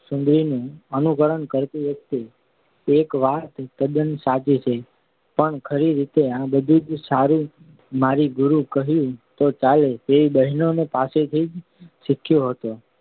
સુંદરી નું અનુકરણ કરતી હતી એક વાત તદ્દન સાચી છે પણ ખરી રીતે આ બધું જ મારી ગુરુ કહું તો ચાલે તેવી બહેનો પાસેથી જ શીખ્યો હતો